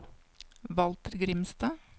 Walter Grimstad